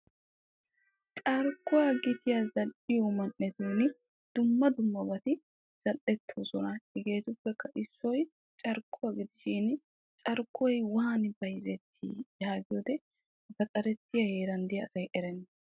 Carkko giyan zal'iyo man'ettun dumma dummabatti bayzzettoson hegeettikka carkkoy bayzzettosonna.